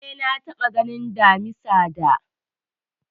Eh, na taɓa ganin Damisa da